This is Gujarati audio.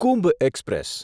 કુંભ એક્સપ્રેસ